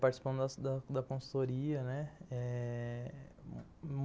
Participamos da da da consultoria, né?